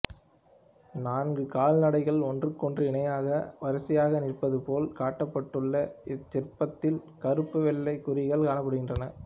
நான்கு கால்நடைகள் ஒன்றுக்கொன்று இணையாக வரிசையாக நிற்பதுபோல் காட்டப்பட்டுள்ள இச்சிற்பத்தில் கறுப்பு வெள்ளைக் குறிகள் காணப்படுகின்றன